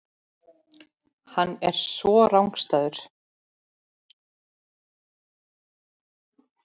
Svo er hann rangstæður.